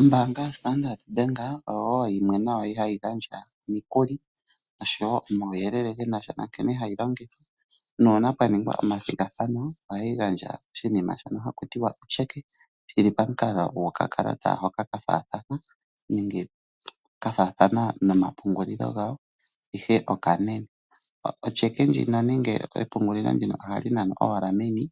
Ombaanga yaStandard Bank oyo wo yimwe nayo hayi gandja omiikuli osho wo omauyelele genasha nkene hayi longithwa na una pwaningwa ethigathano ohayi gandja oshinima shoka hakutiwa ochecke yili pamukalo gwokakalata hoka kafathana nomapungulilo gawo ihe okanene. Ochecke ndjika nenge epungulilo ndino ohali nanawa owala meni